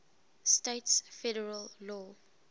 states federal law